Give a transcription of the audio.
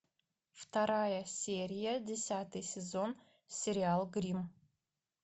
вторая серия десятый сезон сериал гримм